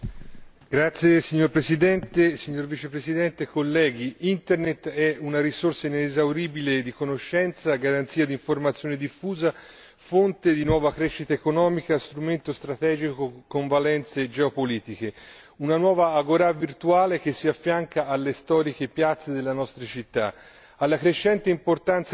Signor Presidente, onorevoli colleghi, signor Vicepresidente della Commissione, Internet è una risorsa inesauribile di conoscenza, garanzia d'informazione diffusa, fonte di nuova crescita economica, strumento strategico con valenze geopolitiche, una nuova agorà virtuale che si affianca alle storiche piazze delle nostre città.